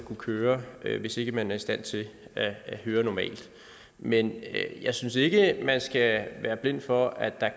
køre bil hvis ikke man er i stand til at høre normalt men jeg synes ikke at man skal være blind for at der